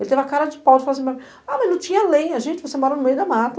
Ele teve a cara de pau, de falar assim, mas não tinha lenha, gente, você mora no meio da mata.